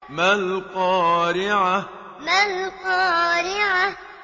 مَا الْقَارِعَةُ مَا الْقَارِعَةُ